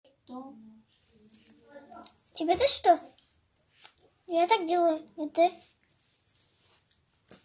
что тебе то что я так делаю и ты